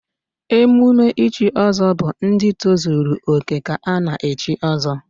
Emume ichi ọzọ bụ ndị tozuru òkè ka a na-echi ọzọ